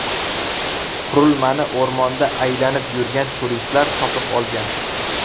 Qurilmani o‘rmonda aylanib yurgan turistlar topib olgan.